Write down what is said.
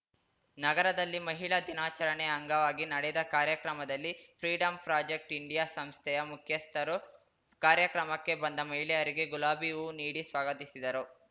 ನಗರದಲ್ಲಿ ಮಹಿಳಾ ದಿನಾಚರಣೆ ಅಂಗವಾಗಿ ನಡೆದ ಕಾರ್ಯಕ್ರಮದಲ್ಲಿ ಫ್ರೀಡಂ ಪ್ರಾಜೆಕ್ಟ್ ಇಂಡಿಯಾ ಸಂಸ್ಥೆಯ ಮುಖ್ಯಸ್ಥರು ಕಾರ್ಯಕ್ರಮಕ್ಕೆ ಬಂದ ಮಹಿಳೆಯರಿಗೆ ಗುಲಾಬಿ ಹೂ ನೀಡಿ ಸ್ವಾಗತಿಸಿದರು